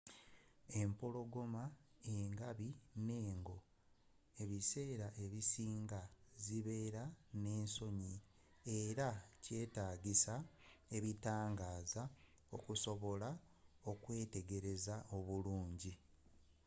empologoma engabi n'engo ebiseera ebisinga zibeera n'ensonyi era kyetaagisa ebitangaaza okusobola okuzeetegereza obulungi